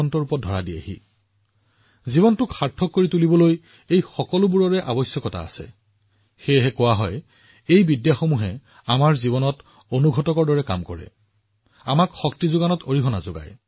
এক প্ৰকাৰে জীৱন অৰ্থপূৰ্ণ হব লাগিব সেয়েহে এই সকলোবোৰ থকাটো সমানে গুৰুত্বপূৰ্ণ সেয়েহে কোৱা হয় যে এই সকলোবোৰ পদ্ধতিয়ে আমাৰ জীৱনত এক অনুঘটক হিচাপে কাম কৰে আমাৰ শক্তি বৃদ্ধি কৰাৰ কাম কৰে